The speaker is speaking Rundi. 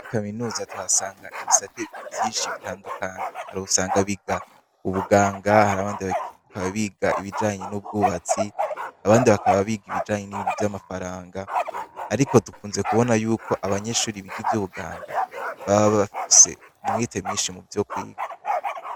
I kaminuza tuhasanga ibisate vyinshi bitandukanyi hari usanga biga ubuganga hari abandi baakaba biga ibijanye n'ubwubatsi abandi bakaba biga ibijanye n'ibintu vy'amafaranga, ariko dukunze kubona yuko abanyeshuri biga ivyo ubuganga baba bafuse umwete mwinshi mu vyo kwiga.